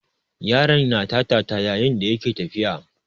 Yaron na tata yayin da yake tafiya.